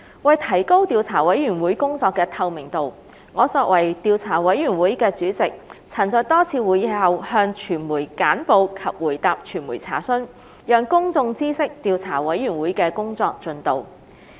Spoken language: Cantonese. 為提高調査委員會工作的透明度，我作為調査委員會的主席，曾在多次會議後向傳媒簡報及回答傳媒査詢，讓公眾知悉調查委員會的工作進度。